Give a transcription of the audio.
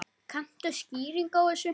Kanntu skýringu á þessu?